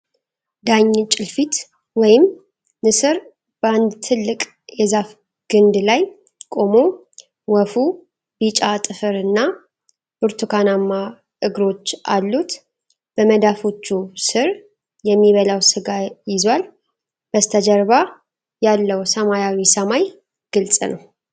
ዳኝ ጭልፊት ወይም ንስር በአንድ ትልቅ የዛፍ ግንድ ላይ ቆሞ ወፉ ቢጫ ጥፍር እና ብርቱካናማ እግሮች አሉት። በመዳፎቹ ስር የሚበላው ሥጋይዟል ። በስተጀርባ ያለው ሰማያዊ ሰማይ ግልጽ ነው።